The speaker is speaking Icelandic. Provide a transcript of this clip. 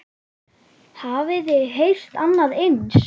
Hafiði heyrt annað eins?